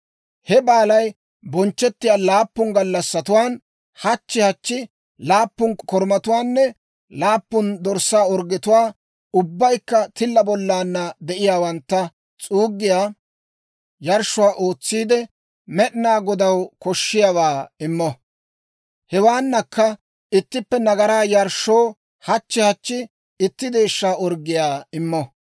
He baalay bonchchettiyaa laappun gallassatuwaan hachchi hachchi laappun korumatuwaanne laappun dorssaa orggetuwaa ubbaykka tilla bollaanna de'iyaawantta s'uuggiyaa yarshshuwaa ootsiide, Med'inaa Godaw koshiyaawaa immo. Hewaanakka ittippe nagaraa yarshshoo hachchi hachchi itti deeshsha orggiyaa immo.